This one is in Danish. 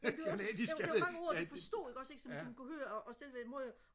og canadisk ikke ja